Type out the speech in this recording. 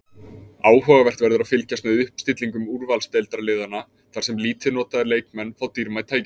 Áhugavert verður að fylgjast með uppstillingum úrvalsdeildarliðanna þar sem lítið notaðir leikmenn fá dýrmæt tækifæri.